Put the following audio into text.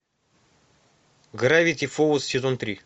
гравити фолз сезон три